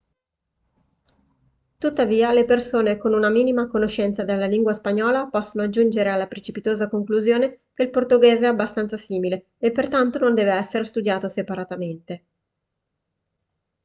tuttavia le persone con una minima conoscenza della lingua spagnola possono giungere alla precipitosa conclusione che il portoghese è abbastanza simile e pertanto non deve essere studiato separatamente